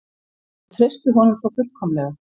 Þau treystu honum svo fullkomlega.